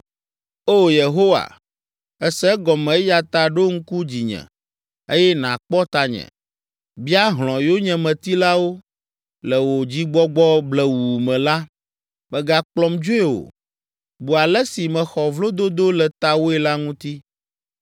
O Yehowa, èse egɔme eya ta ɖo ŋku dzinye eye nàkpɔ tanye. Bia hlɔ̃ yonyemetilawo; le wò dzigbɔgbɔ blewuu me la, mègakplɔm dzoe o. Bu ale si mexɔ vlododo le tawòe la ŋuti.